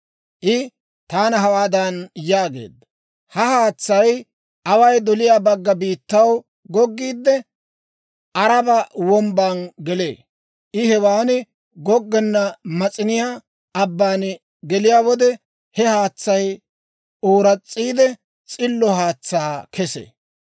I taana hawaadan yaageedda; «Ha haatsay away doliyaa bagga biittaw goggiide, Aaraba Wombban gelee. I hewan goggenna Mas'iniyaa Abban geliyaa wode, he haatsay ooras's'iide, s'illo haatsaa kesee.